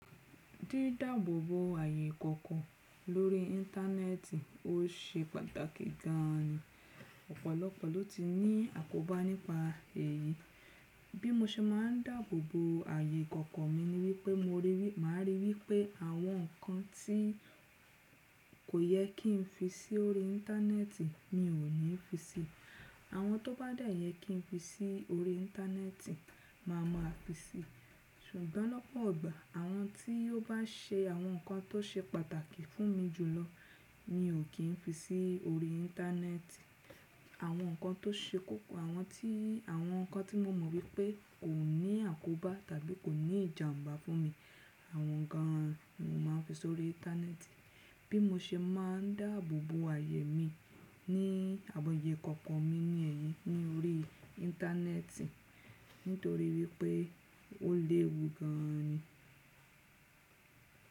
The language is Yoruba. Dídáàbòbò ààyè kankan lórí Íńtánẹ́ẹ̀tì, ó ṣe pàtàkì gan ni. Ọ̀pọ̀lọpọ̀ ló ti ní àkóbá nípa èyí. Bí mo ṣe máa ń dàbòbò ààyè kankan mi ni wípé ma ríi wípé àwọn nǹkan tí kò yẹ kí n fi sí orí Íńtánẹ́ẹ̀tì mi n ò ní fi síi. Àwọn tó bá yẹ kí n fi sí orí Íńtánẹ́ẹ̀tì máa mọ̀ á fi síi. Ṣùgbọ́n lọ́pọ̀ igbà àwọn tí ó bá ṣe àwọn nǹkan tó ṣe pàtàkì fún mi jùlọ mi ò kì í fi sí orí Íńtánẹ́ẹ̀tì. Àwọn nǹkan tó ṣe kókó, àwọn tí àwọn nǹkan tí mo mọ̀ wípé kò ní àkóbá tàbí kò ní ìjàǹbá fún mi, àwọn nǹkan mọ̀ máa ń fi sórí Íńtánẹ́ẹ̀tì. Bí mo ṣe máa ń dàbòbò ààyè mi ní àwọn ààyè kọ̀ọ̀kan mi ní ẹ̀yìn ni orí Íńtánẹ́ẹ̀tì nítorí wípé ó léwu gan ni.